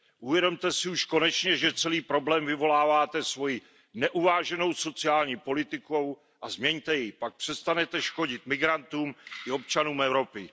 Uvědomte si už konečně, že celý problém vyvoláváte svojí neuváženou sociální politikou a změňte ji, pak přestanete škodit migrantům i občanům Evropy.